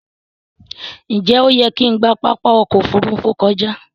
Njé oyè kín gbà Pápá okò ofurufu kọjá?